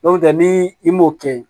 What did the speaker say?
N'o tɛ ni i m'o kɛ